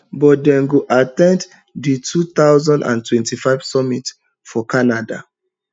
but dem go at ten d di two thousand and twenty-five summit for canada